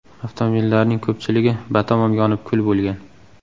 Avtomobillarning ko‘pchiligi batamom yonib kul bo‘lgan.